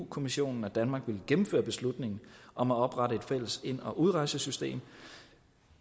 kommissionen at danmark ville gennemføre beslutningen om at oprette et fælles ind og udrejsesystem